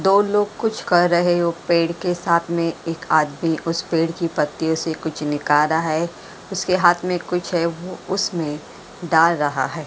दो लोग कुछ कर रहे हो पेड़ के साथ में एक आदमी उस पेड़ की पत्तियों से कुछ निकाल रहा है उसके हाथ में कुछ है वो उसमें डाल रहा है।